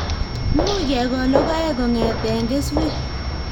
Much kekol logoek kongetee keswek